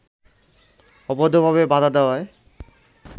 অবৈধভাবে বাধা দেয়ায়